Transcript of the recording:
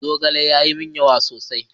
Zogalen ya yi min yawa sosai.